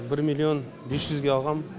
бір миллион бес жүзге алғам